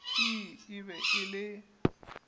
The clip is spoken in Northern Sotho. ii e be e le